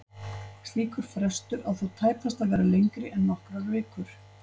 Slíkur frestur á þó tæpast að vera lengri en nokkrar vikur.